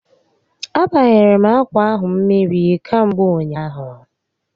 A banyere m akwa ahụ mmiri kamgbe ụnyaahụ